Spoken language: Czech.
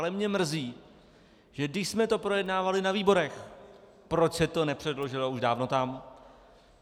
Ale mě mrzí, že když jsme to projednávali na výborech, proč se to nepředložilo už dávno tam.